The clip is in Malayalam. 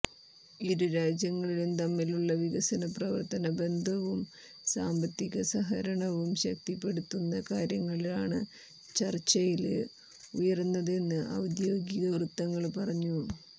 ഇരു രാജ്യങ്ങളും തമ്മിലുള്ള വികസനപ്രവര്ത്തന ബന്ധവും സാമ്പത്തിക സഹകരണവും ശക്തിപ്പെടുത്തുന്ന കാര്യങ്ങളാണ് ചര്ച്ചയില് ഉയര്ന്നതെന്ന് ഔദ്യോഗിക വൃത്തങ്ങള് പറഞ്ഞു